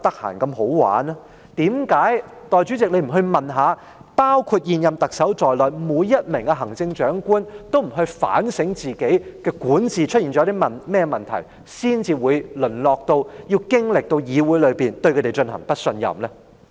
為何代理主席你不去問一下，是否包括現任特首在內的每位行政長官都不反省自己管治出現了甚麼問題，才會淪落到要經歷議會對他們提出的不信任議案呢？